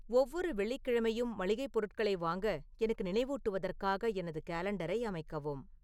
ஒவ்வொரு வெள்ளிக் கிழமையும் மளிகைப் பொருட்களை வாங்க எனக்கு நினைவூட்டுவதற்காக எனது காலண்டரை அமைக்கவும்